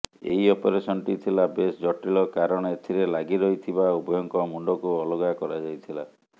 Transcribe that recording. ଏହି ଅପରେସନଟି ଥିଲା ବେଶ ଜଟିଳ କାରଣ ଏଥିରେ ଲାଗି ରହିଥିବା ଉଭୟଙ୍କ ମୁଣ୍ଡକୁ ଅଲଗା କରାଯାଇଥିଲା